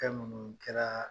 Fɛn minnu kɛraa